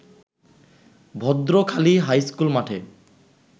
Bhadrakhali high school মাঠে